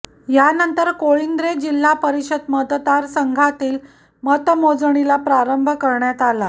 यानंतर कोळिंद्रे जिल्हा परिषद मतदार संघातील मतमोजणीला प्रारंभ करण्यात आला